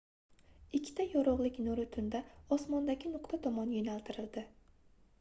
ikkita yorugʻlik nuri tunda osmondagi nuqta tomon yoʻnaltirildi